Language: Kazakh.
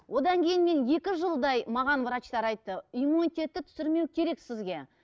одан кейін мен екі жылдай маған врачтар айтты иммунитетті түсірмеу керек сізге